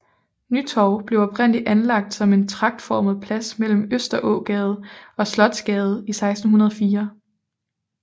Nytorv blev oprindeligt anlagt som en tragtformet plads mellem Østerågade og Slotsgade i 1604